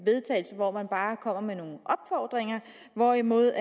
vedtagelse hvor man bare kommer med nogle opfordringer hvorimod